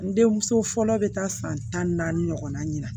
N denmuso fɔlɔ bɛ taa san tan ni naani ɲɔgɔn na ɲina